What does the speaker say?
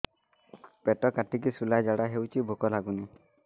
ପେଟ କାଟିକି ଶୂଳା ଝାଡ଼ା ହଉଚି ଭୁକ ଲାଗୁନି